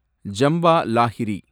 Jhumpa Lahiri